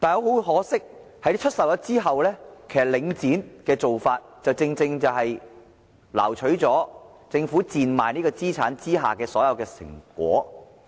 很可惜，出售後，領展的做法正正挪取了政府賤賣資產的所有成果。